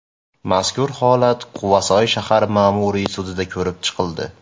Mazkur holat Quvasoy shahar ma’muriy sudida ko‘rib chiqildi.